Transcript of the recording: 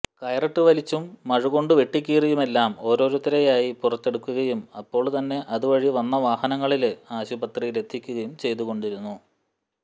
കയറിട്ട് വലിച്ചും മഴുകൊണ്ട് വെട്ടിക്കീറിയുമെല്ലാം ഓരോരുത്തരെയായി പുറത്തെടുക്കുകയും അപ്പോള് തന്നെ അതുവഴി വന്നവാഹനങ്ങളില് ആശുപത്രിയിലെത്തിക്കുകയും ചെയ്തുകൊണ്ടിരുന്നു